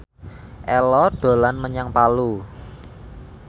Ello dolan menyang Palu